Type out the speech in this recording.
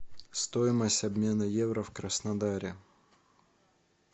стоимость обмена евро в краснодаре